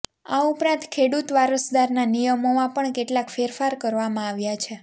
આ ઉપરાંત ખેડૂત વારસદારના નિયમોમાં પણ કેટલાક ફેરફાર કરવામાં આવ્યા છે